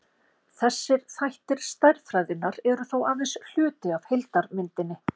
þessir þættir stærðfræðinnar eru þó aðeins hluti af heildarmyndinni